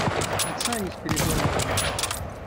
оксане спиридоновой